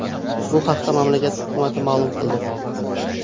Bu haqda mamlakat hukumati ma’lum qildi .